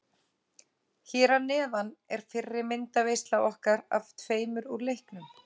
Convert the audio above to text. Hér að neðan er fyrri myndaveisla okkar af tveimur úr leiknum.